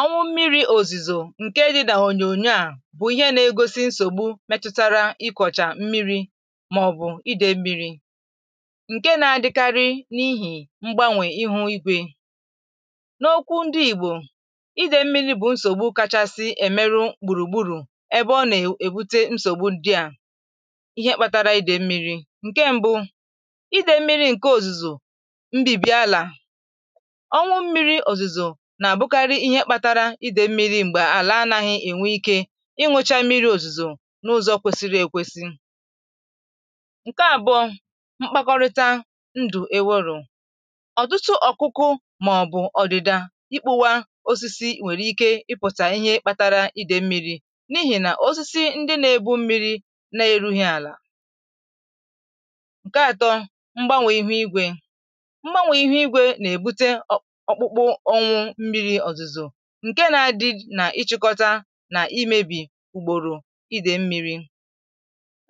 onwu mmiri òzìzò ǹke dī n'ònyònyo a bụ̀ ihe na-egosi nsògbu metụtara ikwọ̀chà mmiri mà ọ̀bụ̀ idè mmiri ǹke na àdịkarị nihì mgbanwè ihu igwē n'okwu ndị ìgbò idè mmiri bụ̀ nsògbu kachasị èmeru gbùrùgburù ebe ọ nà-èbute nsògbu ndị à ihe kpatara idè mmiri ǹke mbụ idè mmiri ǹke òzìzò mbìbi àlà ọnwụ mmiri òzìzò nà àbụkarị ihe kpatara idē mmiri m̀gbè àla anaghī ènwe ikē ịṅụ̄chā mmiri òzìzò n'ụzọ̀ kwesịrị èkwesi ǹke àbụ̀ọ mkpakọrịta ndụ̀ enwērọ̄ ọ̀tụtụ ọkụkụ mà ọ̀bụ̀ ọdịda ikpōwā osisi nwèrè ike ịpụ̀ta ihe kpatara idè mmiri nihì nà osisi ndị n'ebu mmiri na èruhī àlà ǹke atọ mgbanwè ihu igwē mgbanwè ihu igwē na èbute okpukpu ọnwụ mmiri òzizo ǹke na adɪ na ịchị̄kọta nà imēbì gbòrò idè mmiri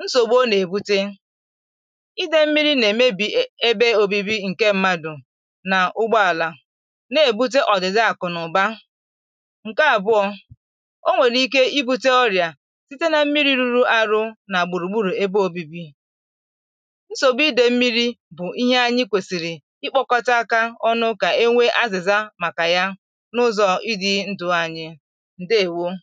nsògbu ọ na èbute idè mmiri na èmebì ebe obibi ǹke mmadụ̀ nà ugbọàlà n'èbute ọ̀dị̀da àkụ̀ nà ụ̀ba ǹke àbụ̀ọ onwèrè ike ibūtē ọrịà site na mmiri ruru arʊ nà gbùrùgburù ebe obibi nsògbu idè mmiri bụ̀ ihe anyị kwesìrì ikpōkọta aka ọnụ kà enwe azìza màkà ya n'ụzọ̀ ịdị̄ ndụ̄ anyị ǹdééwōōnụ